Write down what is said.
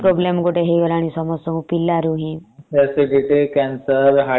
ହଁ gas ବି ଗୋଟେ problem ହେଇଗଲାଣି ସମସ୍ତଙ୍କୁ ପିଲା ରୁ ହିଁ ।